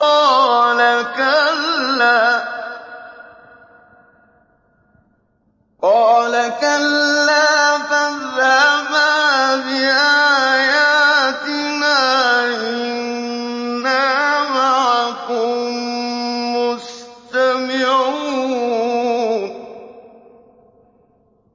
قَالَ كَلَّا ۖ فَاذْهَبَا بِآيَاتِنَا ۖ إِنَّا مَعَكُم مُّسْتَمِعُونَ